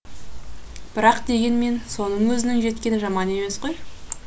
бірақ дегенмен соның өзінің жеткені жаман емес қой